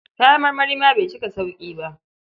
Kayan marmari ma bai cika sauƙi ba.